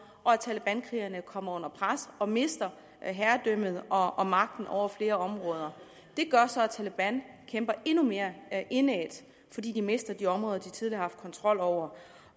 og at talebankrigerne kommer under pres og mister herredømmet og og magten over flere områder det gør så at taleban kæmper endnu mere indædt fordi de mister de områder de tidligere har haft kontrol over